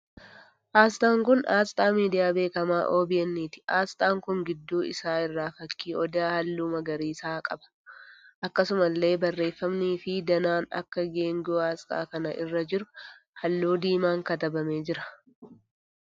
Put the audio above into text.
Asxaan kun asxaa miidiyaa beekamaa OBN ti. Asxaan kun gidduu isaa irraa fakkii Odaa halluu magariisaa qaba. Akkasumallee barreeffamnii fi danaan akka geengoo asxaa kana irra jiru halluu diimaan katabamee jira.